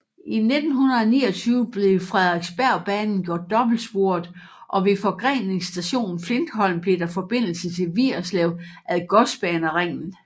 I 1929 blev Frederiksbergbanen gjort dobbeltsporet og ved forgreningsstationen Flintholm blev der forbindelse til Vigerslev ad Godsbaneringen